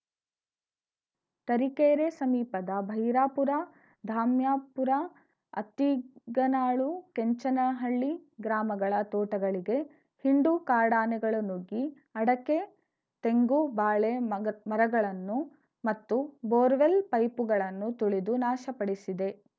ತರೀಕೆರೆ ಸಮೀಪದ ಭೈರಾಪುರ ಧಾಮ್ಯಾಪುರ ಅತ್ತಿಗನಾಳು ಕೆಂಚನಹಳ್ಳಿ ಗ್ರಾಮಗಳ ತೋಟಗಳಿಗೆ ಹಿಂಡು ಕಾಡಾನೆಗಳು ನುಗ್ಗಿ ಅಡಕೆ ತೆಂಗು ಬಾಳೆ ಮಗಳ್ ಮರಗಳನ್ನು ಮತ್ತು ಬೋರ್‌ವೆಲ್‌ ಪೈಪುಗಳನ್ನು ತುಳಿದು ನಾಶ ಪಡಿಸಿದೆ